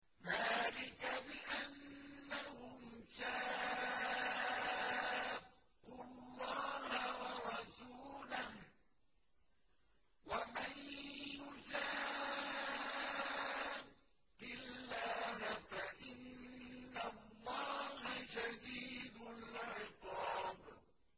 ذَٰلِكَ بِأَنَّهُمْ شَاقُّوا اللَّهَ وَرَسُولَهُ ۖ وَمَن يُشَاقِّ اللَّهَ فَإِنَّ اللَّهَ شَدِيدُ الْعِقَابِ